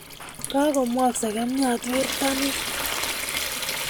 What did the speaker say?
Kagomwok segemnyat werto nin